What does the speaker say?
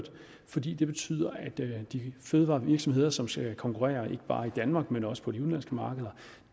fordi det betyder at de fødevarevirksomheder som skal konkurrere ikke bare i danmark men også på de udenlandske markeder